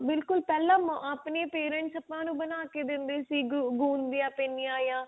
ਬਿਲਕੁਲ ਪਹਿਲਾਂ ਆ ਆਪਣੇ parents ਆਪਾਂ ਨੂੰ ਬਣਾ ਕੇ ਦਿੰਦੇ ਸੀ ਗੁੰ ਗੁੰਦ ਦੀਆਂ ਪਿੰਨੀਆਂ ਜਾਂ